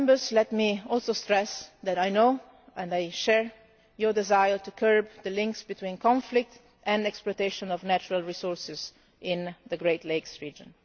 Let me also stress that I know, and I share, your desire to curb the links between conflict and exploitation of natural resources in the Great Lakes region.